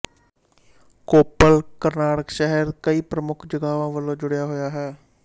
ਕੋੱਪਲ ਕਰਨਾਟਕ ਸ਼ਹਿਰ ਦੇ ਕਈ ਪ੍ਰਮੁੱਖ ਜਗ੍ਹਾਵਾਂ ਵਲੋਂ ਜੁੜਿਆ ਹੋਇਆ ਹੈ